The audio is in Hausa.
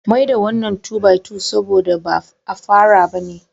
Mai da wannan 2 by 2 sabo da ba afara bane